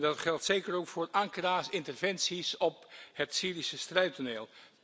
Dat geldt zeker ook voor Ankara's interventies op het Syrische strijdtoneel.